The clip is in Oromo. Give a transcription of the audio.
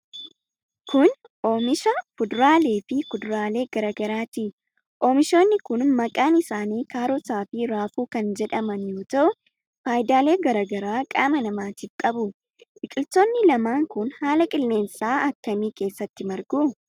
Kun ,oomisha fuduraalee fi kuduraalee garaa garaati. Oomishoonni kun, maqaan isaanii kaarotaa fi raafuu kan jedhaman yoo ta'u, faayidaalee garaa garaa qaama namaatif qabu. Biqiloonni lamaan kun, haala qilleensaa akka kamii keessatti margu?